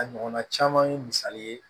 A ɲɔgɔnna caman ye misali ye